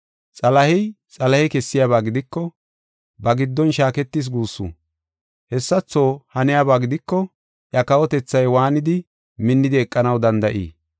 Xalahey Xalahe kessiyaba gidiko ba giddon shaaketis guussu. Hessatho haniyaba gidiko iya kawotethay waanidi minnidi eqanaw danda7ii?